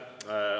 Aitäh!